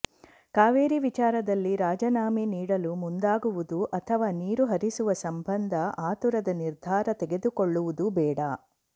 ಕಾವೇರಿ ವಿಚಾರದಲ್ಲಿ ರಾಜೀನಾಮೆ ನೀಡಲು ಮುಂದಾಗುವುದು ಅಥವಾ ನೀರು ಹರಿಸುವ ಸಂಬಂಧ ಆತುರದ ನಿರ್ಧಾರ ತೆಗೆದುಕೊಳ್ಳುವುದು ಬೇಡ